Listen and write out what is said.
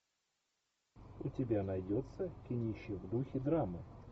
у тебя найдется кинище в духе драма